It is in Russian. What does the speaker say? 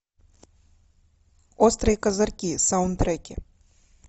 острые козырьки саундтреки